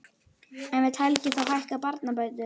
En vill Helgi þá hækka barnabætur?